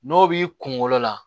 N'o b'i kunkolo la